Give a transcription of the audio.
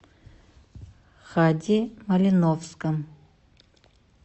хади малиновском